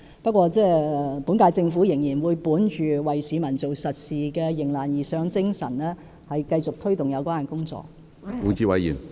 不過，本屆政府仍會本着為市民做實事的迎難而上的精神，繼續推動有關工作。